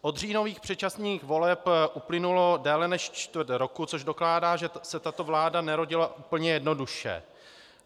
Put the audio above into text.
Od říjnových předčasných voleb uplynulo déle než čtvrt roku, což dokládá, že se tato vláda nerodila úplně jednoduše.